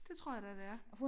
Det tror jeg da det er